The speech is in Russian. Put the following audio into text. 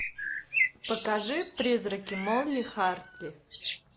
покажи призраки молли хартли